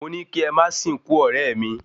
Mo ní kí ẹ máa sìnkú ọ̀rẹ́ mi